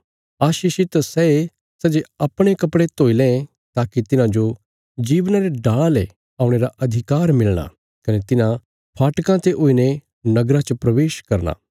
आशीषित सैये सै जे अपणे कपड़े धोई लें ताकि तिन्हांजो जीवना रे डाला ले औणे रा अधिकार मिलणा कने तिन्हां फाटकां ते हुईने नगरा च प्रवेश करना